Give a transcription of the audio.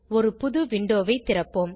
ஒரு புது விண்டோவை திறப்போம்